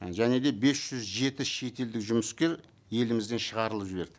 і және де бес жүз жеті шетелдік жұмыскер елімізден шығарылып жіберді